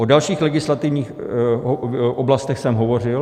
O dalších legislativních oblastech jsem hovořil.